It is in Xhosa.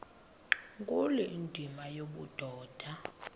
nkulu indima yobudoda